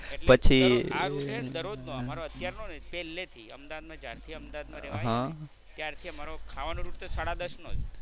એટલે દરરોજ આ route હે ને દરરોજ નો અત્યાર નો નહીં, પહલે થી અમદાવાદ માં જ્યારથી અમદાવાદ માં રહેવા આવ્યા ને ત્યારની અમારો ખાવાનો route તો સાડા દસ નો જ.